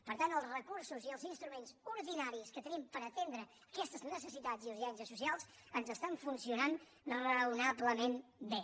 per tant els recursos i els instruments ordinaris que tenim per atendre aquestes necessitats i urgències socials ens funcionen raonablement bé